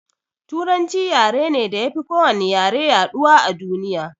Turanci yare ne da yafi ko wani yare yaɗuwa a duniya